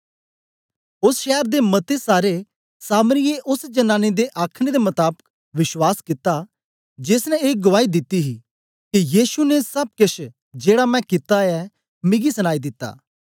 ओस शैर दे मते सारें सामरियें ओस जनानी दे आखने दे मताबक विश्वास कित्ता जेस ने ए गुआई दिती ही के येशु ने सब केछ जेड़ा मैं कित्ता ऐ मिगी सनाई दिता